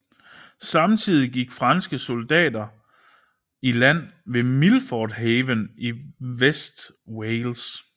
Samtidig gik franske soldater i land ved Milford Haven i Vestwales